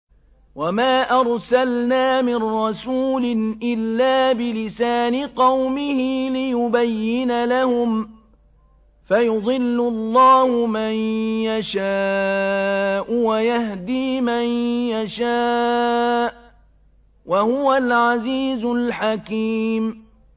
وَمَا أَرْسَلْنَا مِن رَّسُولٍ إِلَّا بِلِسَانِ قَوْمِهِ لِيُبَيِّنَ لَهُمْ ۖ فَيُضِلُّ اللَّهُ مَن يَشَاءُ وَيَهْدِي مَن يَشَاءُ ۚ وَهُوَ الْعَزِيزُ الْحَكِيمُ